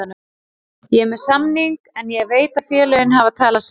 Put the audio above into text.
Ég er með samning en ég veit að félögin hafa talað saman.